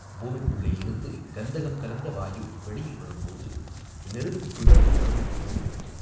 பூமிக்குள்ளேயிருந்து கந்தகம் கலந்த வாயு வெளியில் வரும் போது நெருப்புப் பிழம்பு வருவது போலிருக்கும்.